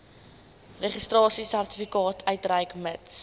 registrasiesertifikaat uitreik mits